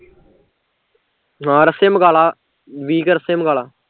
ਹਾਂ ਰੱਸੇ ਮਗਾਲਾਂ ਵੀਹ ਕੁ ਰੱਸੇ ਮਗਾਲਾਂ